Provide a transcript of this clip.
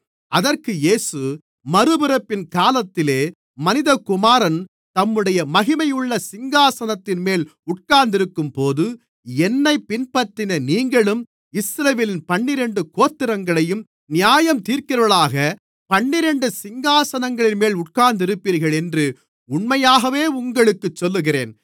அதற்கு இயேசு மறுபிறப்பின் காலத்திலே மனிதகுமாரன் தம்முடைய மகிமையுள்ள சிங்காசனத்தின்மேல் உட்கார்ந்திருக்கும்போது என்னைப் பின்பற்றின நீங்களும் இஸ்ரவேலின் பன்னிரண்டு கோத்திரங்களையும் நியாயந்தீர்க்கிறவர்களாகப் பன்னிரண்டு சிங்காசனங்களின்மேல் உட்கார்ந்திருப்பீர்கள் என்று உண்மையாகவே உங்களுக்குச் சொல்லுகிறேன்